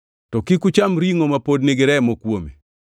To kik ucham ringʼo ma pod nigi remo kuome.